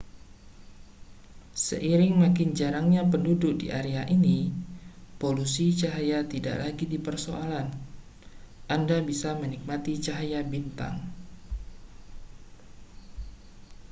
seiring makin jarangnya penduduk di area ini polusi cahaya tidak lagi jadi persoalan anda bisa menikmati cahaya bintang